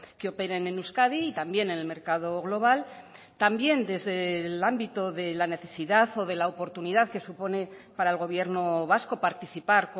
que operen en euskadi y también en el mercado global también desde el ámbito de la necesidad o de la oportunidad que supone para el gobierno vasco participar